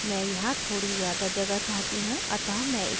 मैं यहाँ थोड़ी ज़्यादा जगह चाहती हूँ; अतः मैं इसे ऊपर खींचूँगी